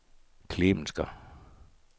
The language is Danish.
Klemensker